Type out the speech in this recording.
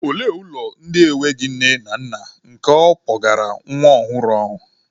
Olee ụlọ ndị enweghị nne na nna nke ọ kpọgara nwa ọhụrụ ahụ?